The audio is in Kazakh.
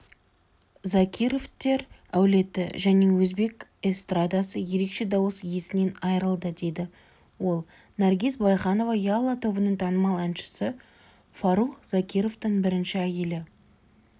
закировтер әулеті және өзбек эстрадасы ерекше дауыс иесінен айрылды деді ол наргиз байханова ялла тобының танымал әншісі фарух закировтың бірінші әйелі